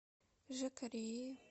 жакареи